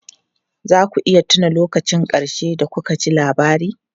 Za ku iya tuna lokacin ƙarshe da kuka ji labari?